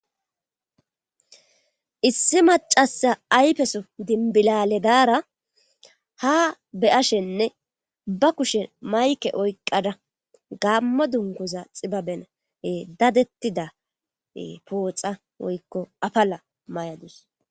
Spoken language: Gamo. issi macasa aypeso dinbilale daara ha be ashenne ba kushen mayke oyqada gammo dunkuza xibabenae dadettida pooxa woykko apala may7adus